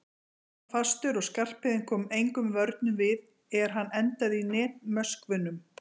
Boltinn var fastur og Skarphéðinn kom engum vörnum við er hann endaði í netmöskvunum.